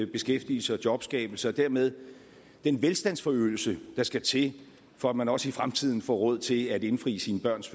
beskæftigelse og jobskabelse og dermed den velstandsforøgelse der skal til for at man også i fremtiden får råd til at indfri sine børns